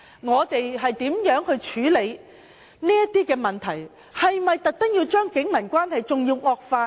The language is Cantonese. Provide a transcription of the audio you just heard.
我們應如何處理這些問題，是否要特意令警民關係更惡化呢？